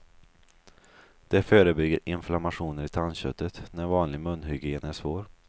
Det förebygger inflammationer i tandköttet, när vanlig munhygien är svår.